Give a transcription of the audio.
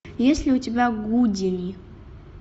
есть ли у тебя гудини